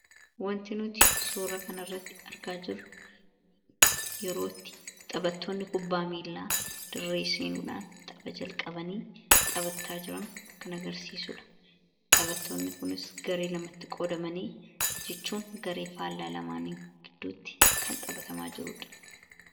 wantinuti soora kana irratti argaa jiru yerootti xaphattoonni kubbaa miilaa dirreesinuudhaan xaba jalqabanii xaphattaa jiran kan agarsiisuudha xaphattoonni kunis garee lamatti qoodamanii jichuun garee faallaa lamaanii gidduutti kan xabhatamaa jiruudha